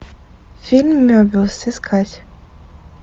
фильм мебиус искать